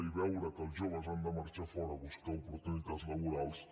i veure que els joves han de marxar fora a buscar oportunitats laborals